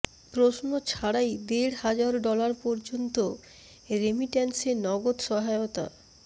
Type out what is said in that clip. প্রশ্ন ছাড়াই দেড় হাজার ডলার পর্যন্ত রেমিট্যান্সে নগদ সহায়তা